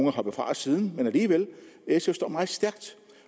er hoppet fra siden men alligevel sf står meget stærkt